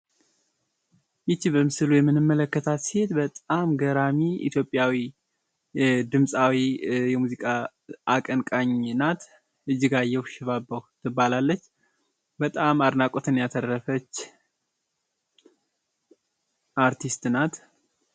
ይች በምስሉ ላይ የምንመለከታት ሴት በጣም ገራሚ ኢትዮጵያዊ ድምፃዊ የሙዚቃ አቀንቃኝ ናት። እጅጋየሁ ሽባባዉ ትባላለች። በጣም አድናቆትን ያተረፈች አርቲስት ናት።